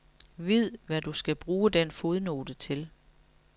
Vid, hvad du skal bruge den fodnote til.